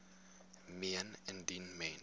meen indien mens